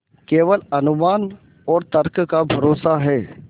केवल अनुमान और तर्क का भरोसा है